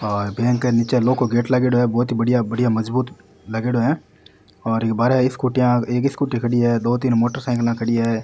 और बैंक के निचे लोहो को गेट लागेड़ो है बहुत ही बढ़िया बहोत ही मजबूत लागेड़ो है और इके बाहरे स्कूटियां एक स्कूटी खड़ी है दो तीन मोटरसाइकला खड़ी है।